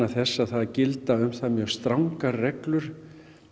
þess að það gilda um það mjög strangar reglur